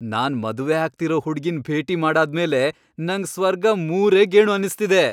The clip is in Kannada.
ನಾನ್ ಮದ್ವೆ ಆಗ್ತಿರೋ ಹುಡ್ಗಿನ್ ಭೇಟಿ ಮಾಡಾದ್ಮೇಲೆ ನಂಗ್ ಸ್ವರ್ಗ ಮೂರೇ ಗೇಣು ಅನ್ನಿಸ್ತಿದೆ.